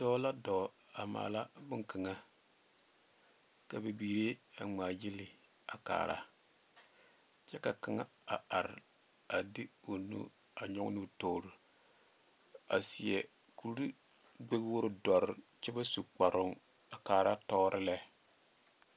Dɔɔ la dɔɔ a maala boŋkaŋa, ka bibiiri a ŋmaa gyili a kaara kyɛ ka kaŋa a are a de o nu a nyɔge ne toori, a seɛ kurigbɛwogiri doɔre kyɛ ba su kaproŋ a kaara tɔɔre lɛ.